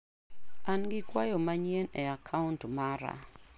An gi kwayo manyien e kaunt mara.